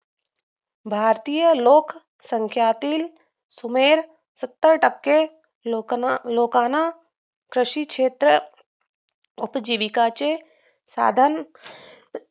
भारतीय लोकसंख्यातील सुमारे सत्तर टक्के लोक लोकांना शेतीचं उपजीविकेचे साधन